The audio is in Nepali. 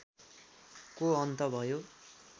को अन्त भयो